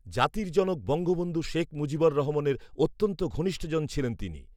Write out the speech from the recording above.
জাতির জনক বঙ্গবন্ধু শেখ মুজিবুর রহমানের অত্যন্ত ঘনিষ্ঠজন ছিলেন তিনি